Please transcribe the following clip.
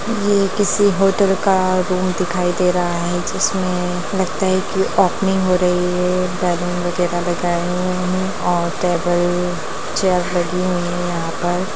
ये किसी होटल का रूम दिखाई दे रहा है जिसमे लगता है की ओपनिंग हो रही है बैलून वगेरा लगाया हुआ है और टेबल चेयर लगी हुई है यहाँ पर --